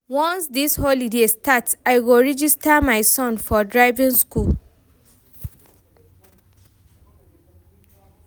Once dis holiday start, I go register my son for driving skool.